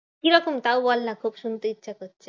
কিরকম? তাও বলনা খুব শুনতে ইচ্ছা করছে।